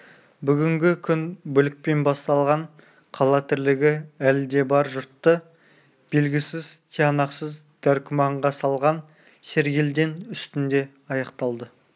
бүгінгі күн бүлікпен басталған қала тірлігі әлі де бар жұртты белгісіз тиянақсыз дәркүмәнға салған сергелдең үстінде аяқталды